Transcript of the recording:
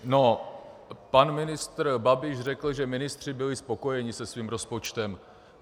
No, pan ministr Babiš řekl, že ministři byli spokojeni se svým rozpočtem.